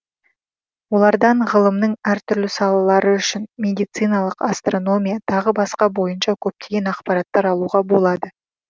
олардан ғылымның әр түрлі салалары үшін медициналық астрономия тағы басқа бойынша көптеген ақпараттар алуға болады